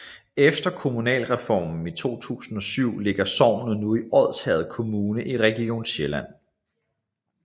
Efter kommunalreformen i 2007 ligger sognet nu i Odsherred Kommune i Region Sjælland